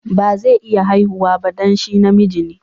Ba zai iya haihuwa ba dan shi na miji ne.